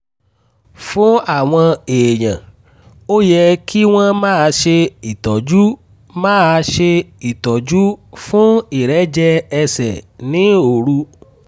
fún àwọn èèyàn ó yẹ kí wọ́n máa ṣe ìtọ́jú máa ṣe ìtọ́jú fún ìrẹ́jẹ ẹsẹ̀ ní òru